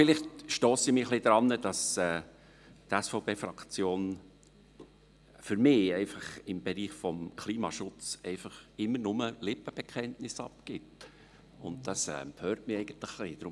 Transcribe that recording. Vielleicht stosse ich mich etwas daran, dass die SVP-Fraktion für mich im Bereich des Klimaschutzes einfach immer nur Lippenbekenntnisse abgibt, und das stört mich eigentlich ein wenig.